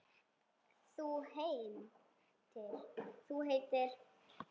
Þú heitir?